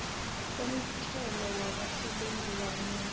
komthelo wabasebenzi kanye